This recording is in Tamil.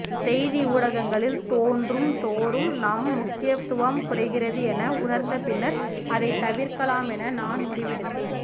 செய்தி ஊடகங்களில் தோன்றும்தோறும் நம் முக்கியத்துவம் குறைகிறது என உணர்ந்தபின்னர் அதை தவிர்க்கலாமென நான் முடிவெடுத்தேன்